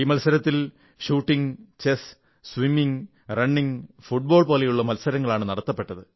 ഈ മത്സരത്തിൽ shooting chess നീന്തൽ ഓട്ടം ഫുട്ബാൾ പോലുള്ള മത്സരങ്ങളാണ് നടന്നത